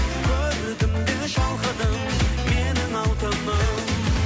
көрдім де шалқыдым менің алтыным